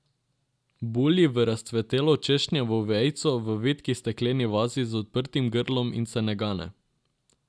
Bulji v razcvetelo češnjevo vejico v vitki stekleni vazi z odprtim grlom in se ne gane.